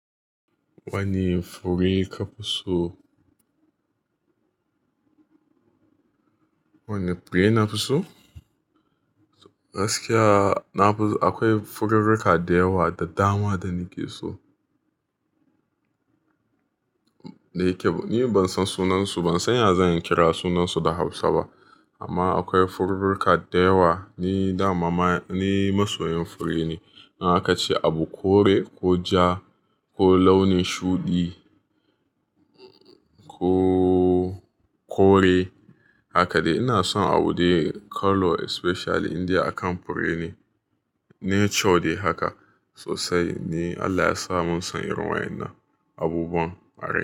Wane fure ka fi so? Wane fure na fi so? Gaskiya, na fi so Akwai furirka da yawa da dama da nake so. Ni ban san sunansu, ban san ya zan kira sunansu da Hausa ba. Amma akwai furirka da yawa, ni dama ni masoyin fure ne. Nawa ka ce abu kore ko ja ko launin shuɗi ko kore, haka dai. Ina son abu dai colour especially inda akan fure ne. Nature dai haka sosai. Ni Allah ya sa mun son irin wa'in na abubuwan arai.